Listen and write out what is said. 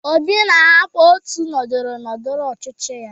Obi na-ahapụ ótù ndọrọndọrọ ọchịchị ya.